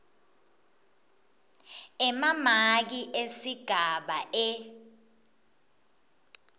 emamaki esigaba e